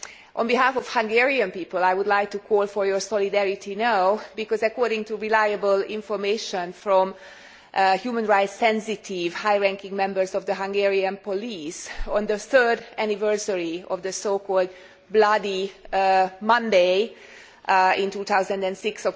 On behalf of the Hungarian people, I would like to call for your solidarity now because, according to reliable information from human rights sensitive, high ranking members of the Hungarian police, on the third anniversary of so called Bloody Monday in 2006